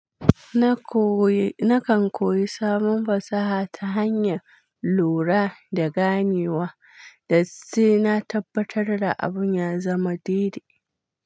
Nakan koyi sabon fasaha ta hanyar lura da ganewa, da sai na tabbatar da abun ya zama daidai.